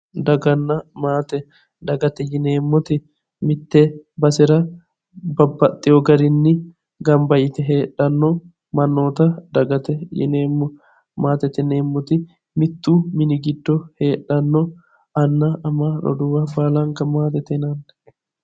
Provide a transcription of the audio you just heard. Daganna maate, dagate yineemmoti mite basera babbaxewo garinni gamba yte heedhano mannotta dagate yineemmo, maatete yineemmoti mitu mini giddo heedhano anna ama roduuwa baalanka maatete yinnanni